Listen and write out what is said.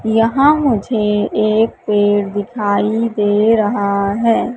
यहां मुझे एक पेड़ दिखाई दे रहा है।